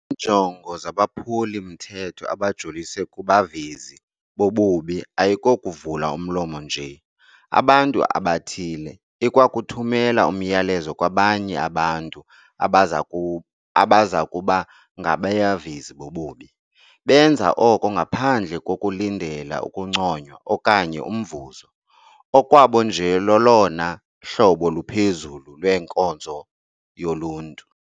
Iinjongo zabaphulimthetho abajolise kubavezi bobubi ayikokuvala umlomo nje abantu abathile ikwakuthumela umyalezo kwabanye abantu abazakuba ngabavezi bobubi. Benza oko ngaphandle kokulindela ukunconywa okanye umvuzo. Okwabo nje lolona hlobo luphezulu lwenkonzo yoluntu.